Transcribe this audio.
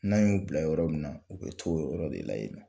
N'an y'u bila yɔrɔ min na u bɛ to o yɔrɔ de la yen nɔ